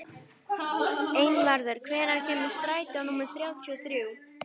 Einvarður, hvenær kemur strætó númer þrjátíu og þrjú?